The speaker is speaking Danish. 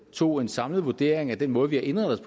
tog en samlet vurdering af den måde vi har indrettet